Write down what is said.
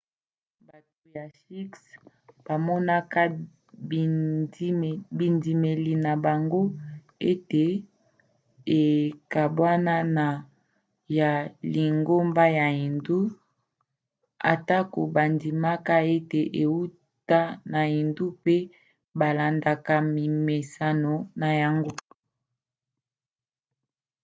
bato ya shikhs bamonaka bindimeli na bango ete ekabwana na ya lingomba ya hindu atako bandimaka ete euta na hindu pe balandaka mimeseno na yango